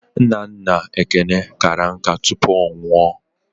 Nna nna Ekene kara nká tupu ọ nwụọ.